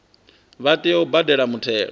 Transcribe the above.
vha tea u badela muthelo